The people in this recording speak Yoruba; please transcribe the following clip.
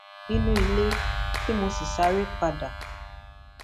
nínú ilé tí mo sì sáré padà